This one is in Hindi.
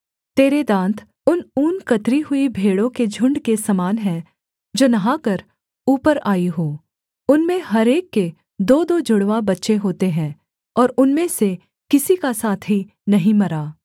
तेरे दाँत उन ऊन कतरी हुई भेड़ों के झुण्ड के समान हैं जो नहाकर ऊपर आई हों उनमें हर एक के दोदो जुड़वा बच्चे होते हैं और उनमें से किसी का साथी नहीं मरा